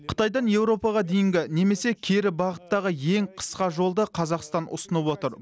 қытайдан еуропаға дейінгі немесе кері бағыттағы ең қысқа жолды қазақстан ұсынып отыр